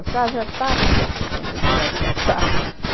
já estavam aqui, quando vocês fizeram a traçado.